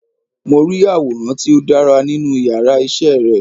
Mo rí àwòrán tí ó dára nínú yàrá isé re